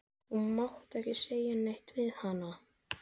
Þú mátt ekki segja neitt við hana.